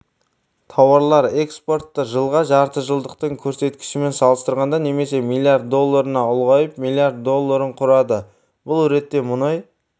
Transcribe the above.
тауарлар экспорты жылғы жартыжылдықтың көрсеткішімен салыстырғанда немесе млрд долларына ұлғайып млрд долларын құрады бұл ретте мұнай